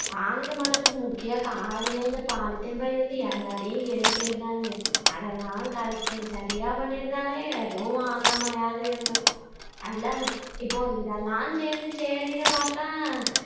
வானிலை மாற்றத்துக்கு முக்கிய காரணமே இந்த polythene பையில இருந்து எல்லாத்தையும் எரிக்கிறது தானுங்க அதெல்லாம் சரியா பண்ணிருந்தாலே எதும் ஆகாமையாவது இருந்துருக்கும் நல்லா, இப்போ இதெல்லாம் சேந்து சரின்னு பாத்தா